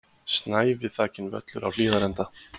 Snævi þakinn völlur á Hlíðarenda